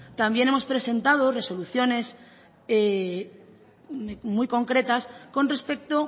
también hemos presentado resoluciones muy concretas con respecto